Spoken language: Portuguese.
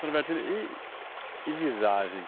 Seu Norbertino, e... e visagem?